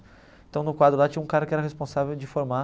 Então no quadro lá tinha um cara que era responsável de formar